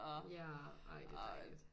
Ja ej det er dejligt